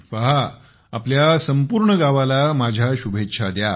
पहा आपल्या संपूर्ण गावाला माझ्याकडून शुभेच्छा द्या